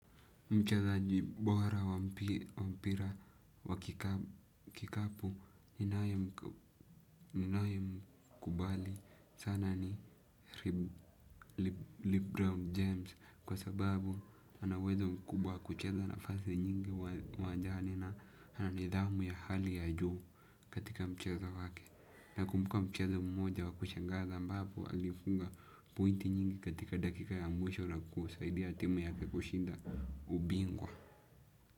Mchezaji bora wa mpira wa kikapu ninaye mkubali sana ni Lebron James kwa sababu anauwezo mkubwa kucheza na fasi nyingi uwanjani na ananidhamu ya hali ya juu katika mcheza wake. Na kumbuka mchezo mmoja wa kushangaza ambapo alifunga pointi nyingi katika dakika ya mwisho na kusaidia timu yake kushinda ubingwa.